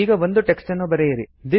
ಈಗ ಒಂದು ಟೆಕ್ಸ್ಟ್ ನ್ನು ಬರೆಯಿರಿ